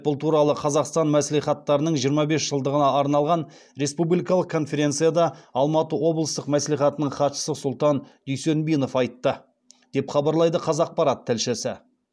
бұл туралы қазақстан мәслихаттарының жиырма бес жылдығына арналған республикалық конференцияда алматы облыстық мәслихатының хатшысы сұлтан дүйсенбинов айтты деп хабарлайды қазақпарат тілшісі